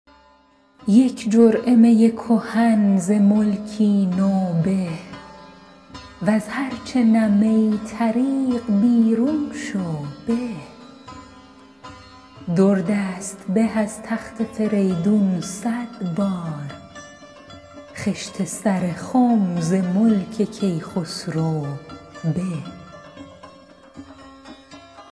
یک جرعه می کهن ز ملکی نو به وز هر چه نه می طریق بیرون شو به در دست به از تخت فریدون صد بار خشت سر خم ز ملک کیخسرو به